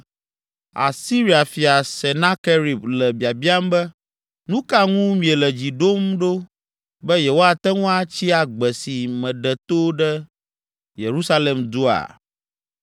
“Asiria fia Senakerib le biabiam be: Nu ka ŋu miele dzi ɖom ɖo be yewoate ŋu atsi agbe esi meɖe to ɖe Yerusalem dua?